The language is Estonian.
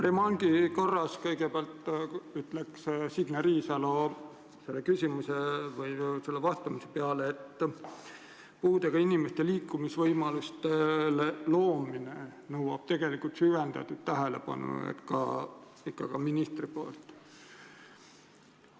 Remargi korras ütleksin kõigepealt Signe Riisalo küsimusele vastamise peale, et puudega inimestele liikumisvõimaluste loomine nõuab ikka süvendatud tähelepanu ka ministrilt.